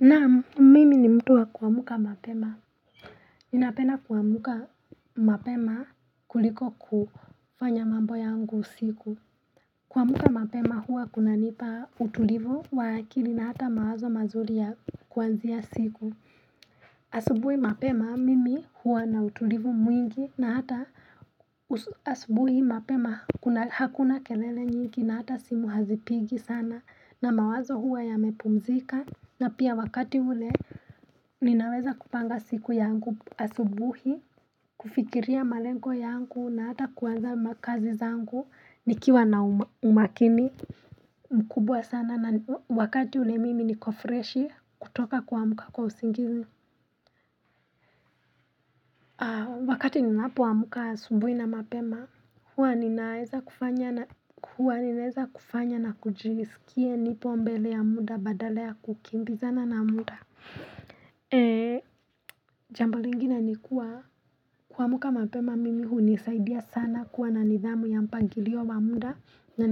Naam mimi ni mtu wa kuamka mapema ninapenda kuamka mapema kuliko kufanya mambo yangu usiku kuamka mapema huwa kunanipa utulivu wa akili na hata mawazo mazuri ya kuanzia siku asubuhi mapema mimi huwa na utulivu mwingi na hata asubuhi mapema hakuna kelele nyingi na hata simu hazipigi sana na mawazo huwa yamepumzika na pia wakati ule Ninaweza kupanga siku yangu asubuhi kufikiria malengo yangu na hata kuwaza makazi zangu Nikiwa na umakini mkubwa sana na wakati ule mimi niko freshi kutoka kwa muka kwa usingizi Wakati ninaapo amka asubuhi na mapema hua ninaeza kufanya na kujisikie nipo mbele ya muda badala ya kukimbiza na muda jambo lingine ni kuwa kuamka mapema mimi hunisaidia sana kuwa na nidhamu ya mpangilio wa muda na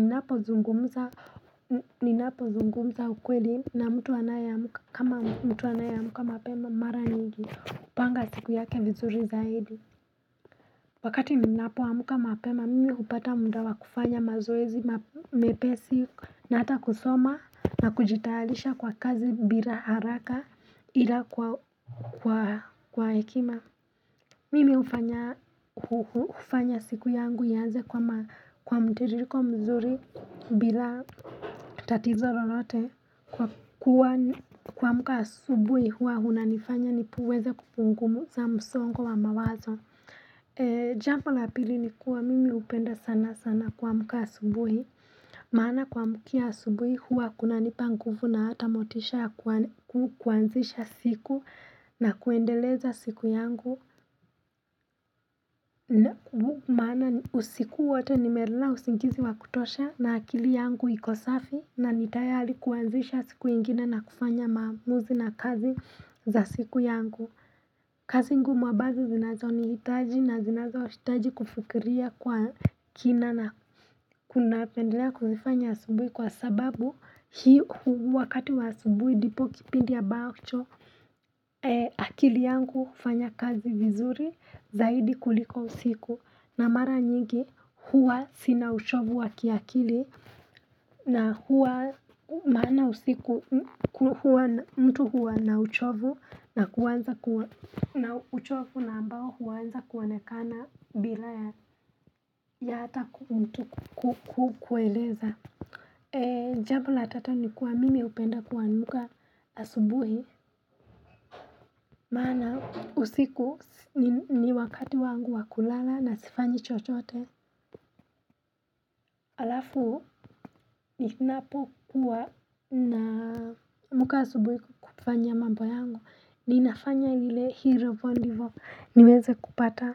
ninapo zungumza ukweli na mtu wanae amka kama mtu wanae amka mapema mara nyingi upanga siku yake vizuri zaidi Wakati ninapo amka mapema, mimi upata muda wa kufanya mazoezi, mepesi, na ata kusoma na kujitalisha kwa kazi bila haraka ila kwa hekima. Mimi ufanya siku yangu yaze kwa mteririko mzuri bila tatizo lolote kwa mka subuhi hua huna nifanya niweze kupunguza msongo wa mawazo. Jambo la pili ni kuwa mimi upenda sana sana kwa muka asubuhi maana kwa muka asubuhi huwa kuna nipangufu na hata motisha kuanzisha siku na kuendeleza siku yangu maana usiku wote nimela usingizi wa kutosha na akili yangu iko safi na ni tayari kuanzisha siku ingina na kufanya maamuzi na kazi za siku yangu kazi ngumu ambazo zinazo nihitaji na zinazo ushitaji kufikiria kwa kina na kuna pendelea kuzifanya asubui kwa sababu hii wakati wa asubui ndipo kipindi ambacho akili yangu kufanya kazi vizuri zaidi kuliko usiku na mara nyingi huwa sina uchovu wa kiakili na huwa maana usiku huwa mtu huwa na uchovu na uchovu na ambao huwa anza kuonekana bila ya hata kukueleza. Jambo la tatu ni kuwa mimi upenda kuamka asubuhi Mana usiku ni wakati wangu wa kulala na sifanyi chochote Alafu ninapo kuwa naamka asubuhi kufanya mambo yangu ni nafanya hile hero wonderful niweze kupata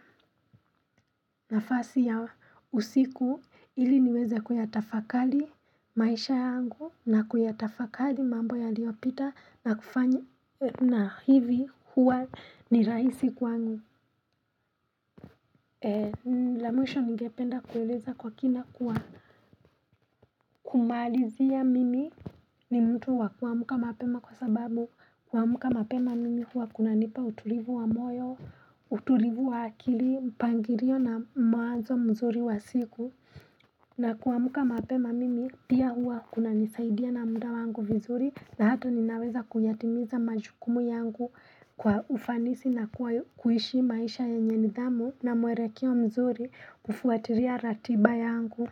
nafasi ya usiku Ili niweze kuyatafakali maisha yangu na kuyatafakari mambo yaliopita na kufanya na hivi huwa ni raisi kwangu la mwisho ngependa kueleza kwa kina kumalizia mimi ni mtu wa kuamka mapema kwa sababu kwa muka mapema mimi huwa kunanipa utulivu wa moyo, utulivu wa akili, mpangirio na mwanzo mzuri wa siku na kuamka mapema mimi pia huwa kunanisaidia na muda wangu vizuri na hata ninaweza kuyatimiza majukumu yangu kwa ufanisi na kuwa kuishi maisha yenye nidhamu na mwelekeo kia mzuri kufuatilia ratiba yangu.